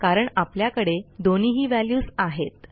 कारण आपल्याकडे दोन्हीही व्हॅल्यूज आहेत